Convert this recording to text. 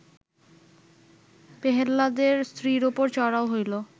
পেহ্লাদের স্ত্রীর ওপর চড়াও হইল